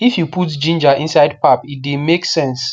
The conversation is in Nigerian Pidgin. if you put ginger inside pap e the make sense